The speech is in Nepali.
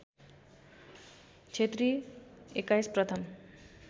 क्षेत्री २१ प्रथम